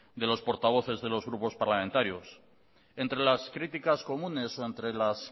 de los portavoces de los grupos parlamentarios entre las críticas comunes o entre las